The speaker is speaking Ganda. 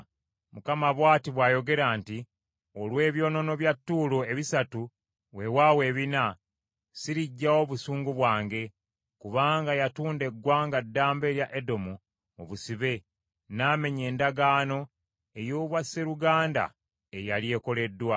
Mukama bw’ati bw’ayogera nti, “Olw’ebyonoono bya Ttuulo ebisatu, weewaawo ebina, siriggyawo busungu bwange. Kubanga yatunda eggwanga ddamba erya Edomu mu busibe n’amenya endagaano ey’obwaseruganda eyali ekoleddwa,